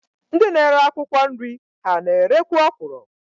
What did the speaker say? Ndị na-ere akwụkwọ nri ha na-erekwu ọkwụrụ?